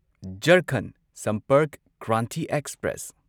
Jharkhand Sampark Kranti express